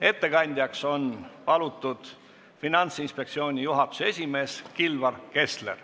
Ettekandjaks on palutud Finantsinspektsiooni juhatuse esimees Kilvar Kessler.